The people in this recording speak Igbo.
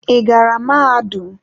Ị gara mahadum?